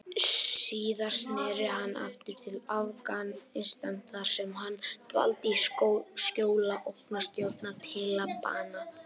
Síðar sneri hann aftur til Afganistan þar sem hann dvaldi í skjóli ógnarstjórnar Talibana.